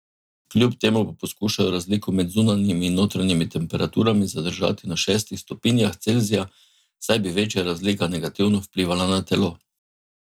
Kljub temu pa poskušajo razliko med zunanjimi in notranjimi temperaturami zadržati na šestih stopinjah Celzija, saj bi večja razlika negativno vplivala na telo.